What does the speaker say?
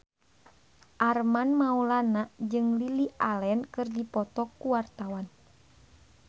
Armand Maulana jeung Lily Allen keur dipoto ku wartawan